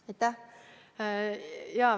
Aitäh!